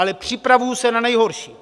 Ale připravuji se na nejhorší.